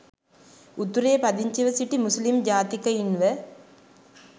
උතුරේ පදිංචිව සිටි මුස්ලිම් ජාතිකයින්ව